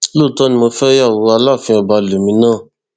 lóòótọ ni mo fẹ ìyàwó aláàfin ọba lèmi náà